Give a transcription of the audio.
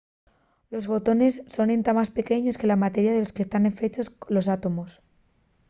¡los fotones son entá más pequeños que la materia de lo que tán fechos los átomos!